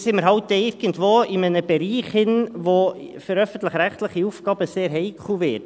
Dann sind wir eben irgendwo in einem Bereich, der für öffentlich-rechtliche Aufgaben sehr heikel wird.